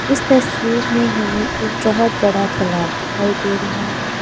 इस तस्वीर में हमें एक बहुत बड़ा तालाब दिखाई दे रहा है।